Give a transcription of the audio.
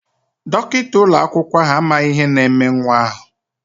Dọkịta ụlọakwụkwọ ahụ amaghị ihe na-eme nwa ahụ.